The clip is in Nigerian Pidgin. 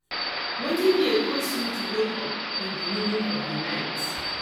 wetin dey cause you to wake up in di middle of di night